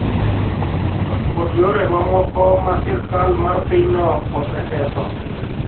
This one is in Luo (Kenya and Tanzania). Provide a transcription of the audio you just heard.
kod yore mamoko ma sirkal mar pinyno oseketho.